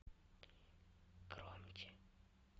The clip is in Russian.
громче